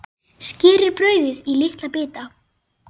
Skerið brauðið í litla bita.